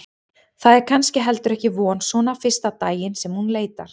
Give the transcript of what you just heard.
Það er kannski heldur ekki von svona fyrsta daginn sem hún leitar.